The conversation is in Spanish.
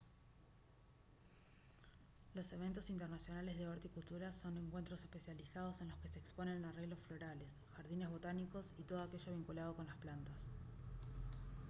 los eventos internacionales de horticultura son encuentros especializados en los que se exponen arreglos florales jardines botánicos y todo aquello vinculado con las plantas